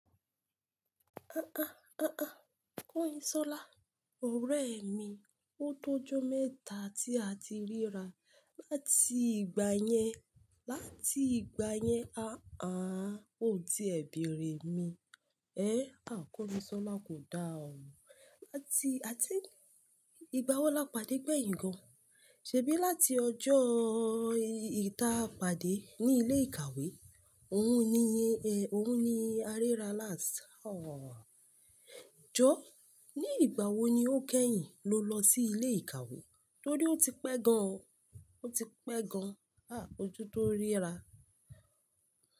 Àá, àá, Kanyinsola, ọ̀rẹ́ mi, ó tó jó mẹ́ta tí a ti ríra. Láti ìgbà yẹn, láti ìgbà yẹn, àá, ó ti r bẹ̀erẹ̀ mi. Ẹ́, à, Kanyinsola kò dá ọ̀. Láti, i think, ìgbà wo lápàdé gbẹ̀yìn gan? Ṣèbí láti ọjọ́ eyi ta pàdé ní ilé ìkàwé? Òun ni, ẹ, òun ni a ríra last. Jọ́, ní ìgbà wo ni ó kẹ́yìn ló lọ sí ilé ìkàwé? Torí ó ti pẹ́ gan, ó ti pẹ́ gan. À, ojú tó ríra.